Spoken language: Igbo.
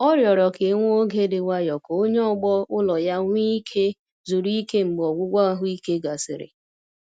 Ọ rịọrọ ka e nwee oge dị nwayọ ka onye ọgbọ ulọ ya nwee ike zuru ike mgbe ọgwụgwọ ahụike gasịrị.